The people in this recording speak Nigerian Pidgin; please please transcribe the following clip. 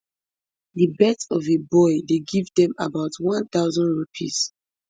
di birth of a boy dey give dem about one thousand rupees